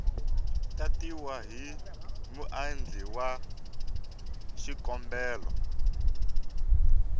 tatiwa hi muendli wa xikombelo